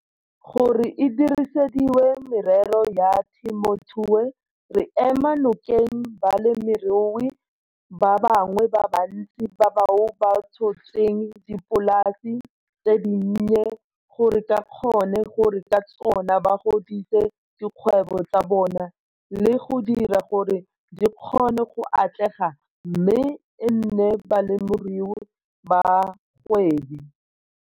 Gore e dirisediwe merero ya temothuo, re ema nokeng balemirui ba bangwe ba bantsi bao ba tshotseng dipolasi tse dinnye gore ba kgone gore ka tsona ba godise dikgwebo tsa bona le go dira gore di kgone go atlega mme e nne balemirui ba bagwebi.